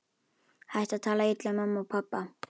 Hættu að tala illa um mömmu og pabba!